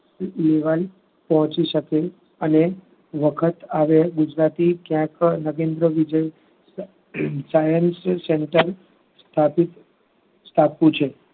પહોચી શકે અને વખત આવે ગુજરાતી ક્યાય પણ નગેન્દ્ર વિજય science center સ્થાપિત કરવું છે.